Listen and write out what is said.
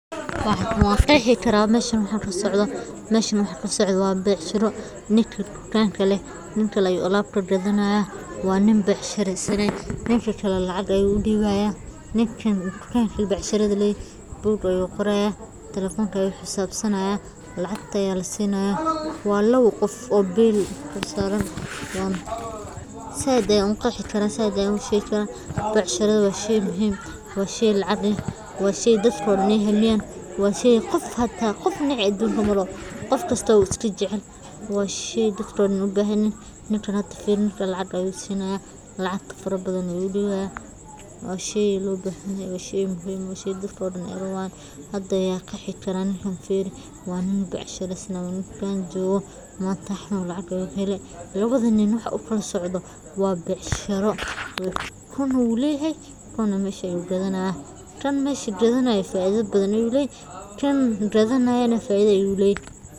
Ganacsigu waa aasaaska hantida iyo horumarka qofka iyo bulshada, sidaa darteed waa in la fahmaa muhiimadda maalgelinta, kaydinta, iyo maareynta dhaqaalaha si loo gaaro helitaanka dakhliga iyo badbaadada mustaqbalka, gaar ahaan marka la eego xadgudubka iyo khatarta ganacsiga, taas oo ay ku jiraan in la sameeyo qorshe wax-ku-ool, la kala saaro dakhliga, la diiwaangeliyo khidmadaha deynta, la iska ilaaliyo musuqmaasuqa, la kaashado bangiyada iyo hay'adaha maaliyadeed, la raadiso fursadaha lacag-dhiska iyo maalgashiga, la qeybsado kaydka u dhexeeya horumarinta ganacsiga iyo kobcinta shaqada, la xisaabtamo khidmadaha iyo kharashaadka.